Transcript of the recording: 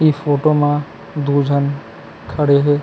इ फोटो म दो झन खड़े हे।